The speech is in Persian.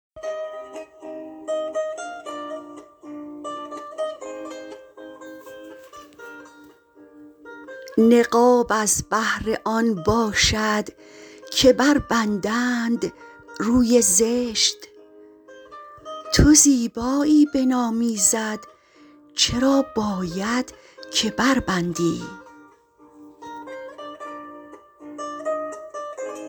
نقاب از بهر آن باشد که بربندند روی زشت تو زیبایی بنام ایزد چرا باید که بربندی